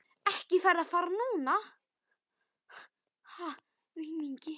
Ekki ferðu að fara núna, sagði Flóamaður.